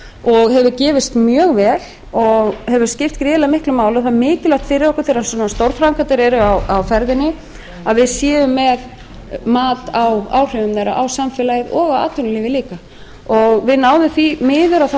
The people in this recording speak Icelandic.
og hefur gefist mjög vel og hefur skipt gríðarlega miklu máli það er mikilvægt fyrir okkur þegar svona stórframkvæmdir eru á ferðinni að við séum með mat á áhrifum þeirra á samfélagið og á atvinnulífið líka en því miður